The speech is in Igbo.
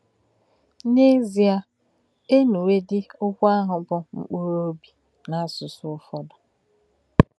N’èzì̄è̄, ē nù̄wè̄dí̄ òkwù̄ àhụ̄ bụ́ “ mkpù̄rụ̄ óbì̄ ” n’ásụsụ̀ úfọ́dū.